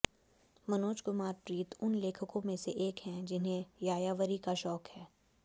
मनोज कुमार प्रीत उन लेखकों में से एक हैं जिन्हें यायावरी का शौक है